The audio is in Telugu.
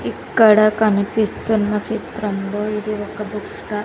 ఇక్కడ కనిపిస్తున్న చిత్రంలో ఇది ఒక బుక్ స్టాల్ .